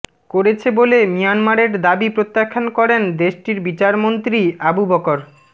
করেছে বলে মিয়ানমারের দাবি প্রত্যাখ্যান করেন দেশটির বিচারমন্ত্রী আবুবকর